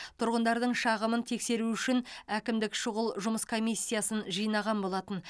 тұрғындардың шағымын тексеру үшін әкімдік шұғыл жұмыс комиссиясын жинаған болатын